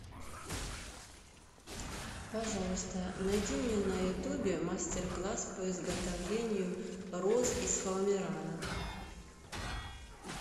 пожалуйста найди мне на ютубе мастер класс по изготовлению роз из фоамирана